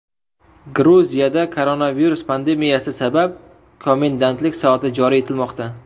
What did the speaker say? Gruziyada koronavirus pandemiyasi sabab komendantlik soati joriy etilmoqda.